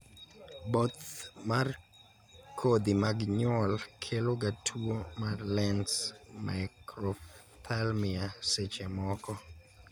both mar kodhi mag nyuol kelo ga tuo mar Lenz microphthalmia seche moko